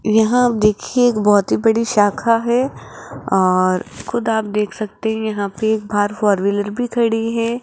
यहां देखिए एक बहोत ही बड़ी शाखा है और खुद आप देख सकते हैं यहां पर एक बाहर फोर व्हीलर भी खड़ी है।